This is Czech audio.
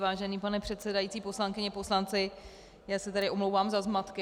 Vážený pane předsedající, poslankyně, poslanci, já se tady omlouvám za zmatky.